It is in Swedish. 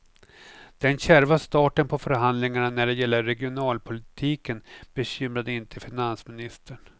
Den kärva starten på förhandlingarna när det gäller regionalpolitiken bekymrade inte finansministern.